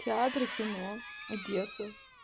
театры кино одесса